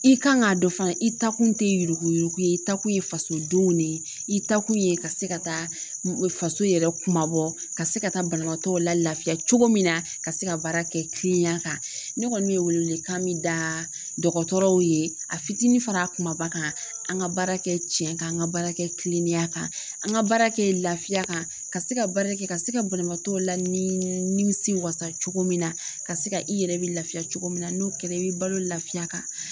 I kan k'a dɔn fana i ta kun tɛ yurukuyuruku ye i taa kun ye fasodenw de ye, i ta kun ye ka se ka taa faso yɛrɛ kuma bɔ, ka se ka taa banabaatɔ la lafiya cogo min na ka se ka baara kɛ kilenenya, ne kɔni bɛ welewelekan min da dɔgɔtɔrɔw ye a fitinin fara a kumaba kan an ka baara kɛ tiɲɛn kan an ka baara kɛ kilenenyan kan, an ka baara kɛ lafiya kan, ka se ka baarakɛ ka se ka bananbatɔw lanimisi wasa cogo min na, ka se ka i yɛrɛ bɛ lafiya cogo min na n'o kɛra i bi balo lafiya kan.